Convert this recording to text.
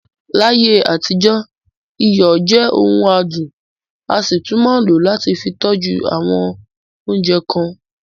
Láyé àtijọ́, iyọ̀ jẹ ọ̀ún àdùn, a sì tún máa ń lò ó láti fì tọ́jú awọn oúnjẹ kan.